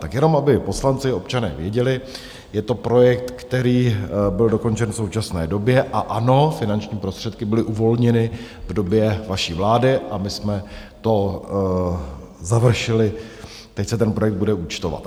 Tak jenom, aby poslanci, občané věděli: Je to projekt, který byl dokončen v současné době a ano, finanční prostředky byly uvolněny v době vaší vlády a my jsme to završili, teď se ten projekt bude účtovat.